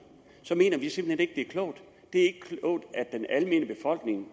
mener vi simpelt hen ikke det er klogt det er ikke klogt at den almene befolkning